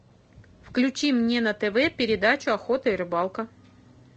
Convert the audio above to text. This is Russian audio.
включи мне на тв передачу охота и рыбалка